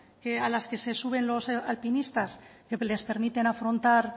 a las que se suben los alpinistas que les permite afrontar